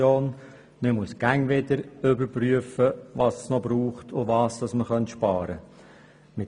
Man muss immer wieder überprüfen, was es noch braucht, und was man einsparen könnte.